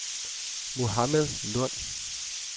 Mohammad Lund